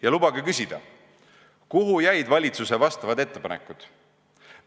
Ja lubage küsida, kuhu jäid valitsuse vastavad ettepanekud?